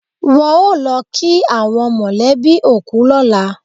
Wọ́n ó lọ kí àwọn mọ̀lẹ́bí òkú lọ́la.